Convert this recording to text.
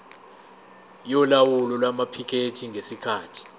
yolawulo lwamaphikethi ngesikhathi